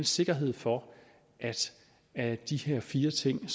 sikkerhed for at de her fire ting